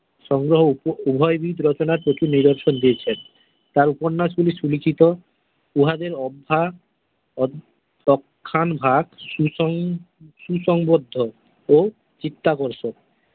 সঙ্গে উপ উভয়বিদ রচনার প্রচুর নিদর্শন দিয়েছেন তার উপন্যাসগুলি সুলিখিত উহাদের অব্বহা অ অ অক্ষণ ভাগ সুসুঙ্গ সুসংবদ্ধ ও চিত্তাকর্ষক।